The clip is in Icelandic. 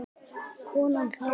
Konan hló.